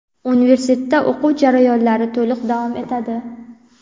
universitetda o‘quv jarayonlari to‘liq davom etadi.